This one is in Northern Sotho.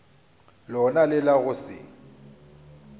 lona le la go se